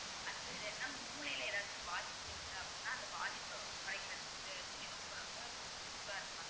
அது இது என்னனா மூளைல ஏதாச்சும் பாதிப்பு இருக்கு அப்படின்னா அந்த பாதிப்பு குறைக்கறதுக்கு இது ரொம்ப ரொம்ப useful அ இருக்கும் mam